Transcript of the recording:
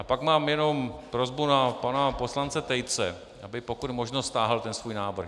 A pak mám jenom prosbu na pana poslance Tejce, aby pokud možno stáhl ten svůj návrh.